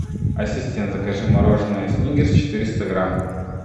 ассистент закажи мороженое сникерс четыреста грамм